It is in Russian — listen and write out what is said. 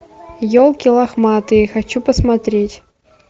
елки лохматые хочу посмотреть